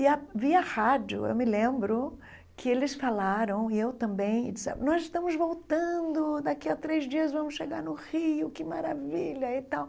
E, via rádio, eu me lembro que eles falaram, e eu também, e disseram, nós estamos voltando, daqui a três dias vamos chegar no Rio, que maravilha, e tal.